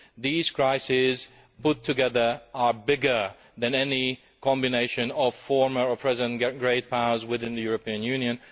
These crises, put together, are bigger than any combination of former or present great powers within the European Union.